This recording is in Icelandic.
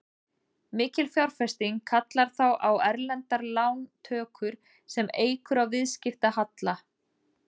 Mikil fjárfesting kallar þá á erlendar lántökur sem eykur á viðskiptahalla.